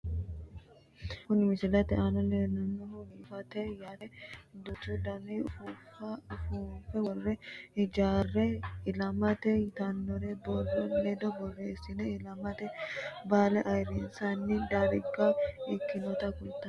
Kuni misilete aana leellannohu biifisate yaate, duuchu dani ufuuffa ufuunfe worre hagiirraame ilama yitanno borro ledo borreessine ilamate baale ayiirrinsanni darga ikkinota kulloonni.